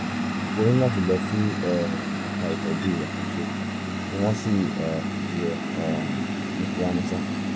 o ní láti lọ sí um ẹ̀ka ìtọ́jú àkànṣe kí wọ́n sì um rí ẹ um ní kíá mọ́sá